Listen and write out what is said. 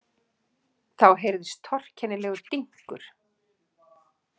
Þá heyrðist torkennilegur dynkur.